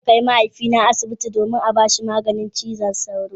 Zan kai mahaifina asibiti domin a bashi maganin zazzabin cizon sauro.